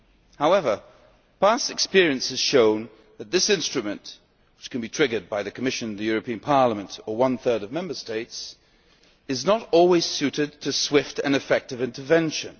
However, past experience has shown that this instrument, which can be triggered by the Commission, the European Parliament or one third of Member States, is not always suited to swift and effective intervention.